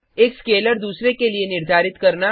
एक स्केलर दूसरे के लिए निर्धारित करना